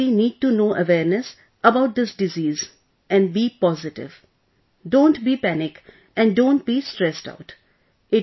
So, community need to know awareness about this disease and be positive, don't be panic and don't be stressed out